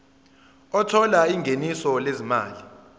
othola ingeniso lezimali